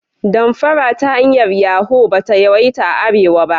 Damfara ta hanyar Yahu ba ta yawaita a arewa ba.